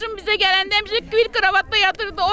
Bacım bizə gələndə həmişə bir kravatda yatırdı.